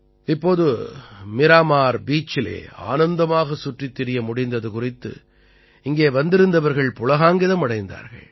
இப்போது மீராமார் பீச்சிலே ஆனந்தமாகச் சுற்றித் திரிய முடிந்தது குறித்து இங்கே வந்திருந்தவர்கள் புளகாங்கிதம் அடைந்தார்கள்